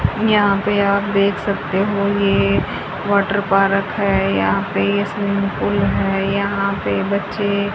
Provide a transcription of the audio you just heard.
यहां पर आप देख सकते हो यह वाटर पार्क है। यहां पर यह स्विमिंग पूल है। यहां पर बच्चे--